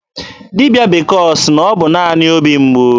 Dibịa bekee ọ sị na ọ bụ naanị obi mgbu?